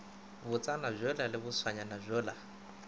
botsana bjola le bošwaanyana bjola